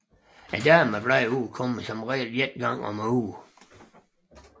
Damebladene udkommer som regel en gang ugentligt